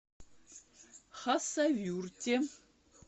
хасавюрте